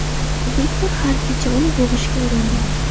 Viktor har kecha uni bo‘g‘ishga uringan.